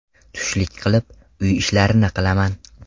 Tushlik qilib, uy ishlarini qilaman.